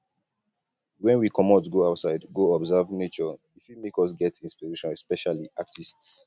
when we comot go outside go observe nature e fit make us get inspiration especially artists